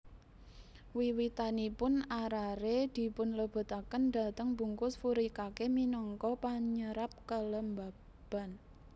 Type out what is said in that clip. Wiwitanipun arare dipunlebetaken dhateng bungkus furikake minangka panyerap kelembapan